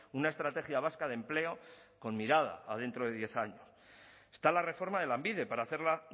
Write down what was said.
una estrategia vasca de empleo con mirada a dentro de diez años está la reforma de lanbide para hacerla